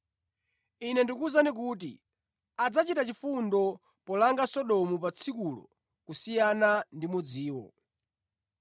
Ine ndikuwuzani kuti adzachita chifundo polanga Sodomu pa tsikulo kusiyana ndi mudziwo.